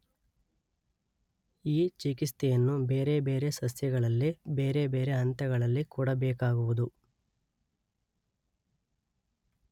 ಈ ಚಿಕಿತ್ಸೆಯನ್ನು ಬೇರೆ ಬೇರೆ ಸಸ್ಯಗಳಲ್ಲಿ ಬೇರೆ ಬೇರೆ ಹಂತಗಳಲ್ಲಿ ಕೊಡಬೇಕಾಗುವುದು.